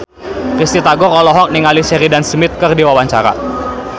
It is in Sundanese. Risty Tagor olohok ningali Sheridan Smith keur diwawancara